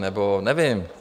Nebo nevím...